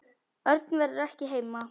Örn verður ekki heima.